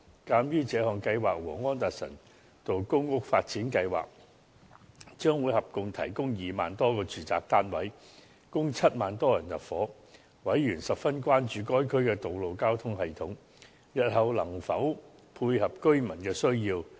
鑒於這項計劃和安達臣道公屋發展計劃將會合共提供2萬多個住宅單位，供7萬多人入住，委員十分關注該區的道路交通系統日後能否配合居民的需要。